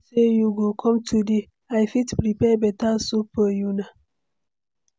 I no know say you go com today, i fit prepare beta soup for una